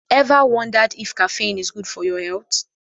Ever wondered if caffeine is good for your health?